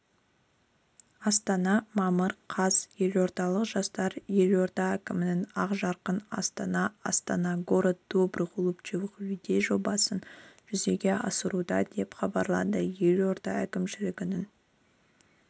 астана мамыр қаз елордалық жастар елорда әкімінің ақжарқын астана астана город добрых улыбчивых людей жобасын жүзеге асыруда деп хабарлады елорда әкімшілігінің